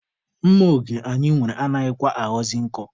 Mma oge anyị nwere anaghịkwa aghọzị nkọ.